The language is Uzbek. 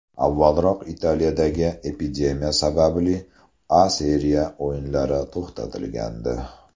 Avvalroq Italiyadagi epidemiya sababli A Seriya o‘yinlari to‘xtatilgandi.